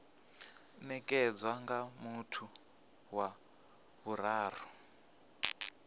nekedzwa nga muthu wa vhuraru